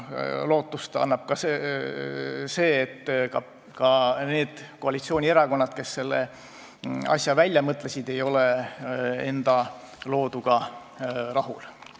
Lootust annab ka see, et need koalitsioonierakonnad, kes selle asja välja mõtlesid, ei ole isegi enda looduga rahul.